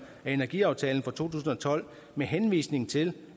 af energiaftalen fra to tusind og tolv med henvisning til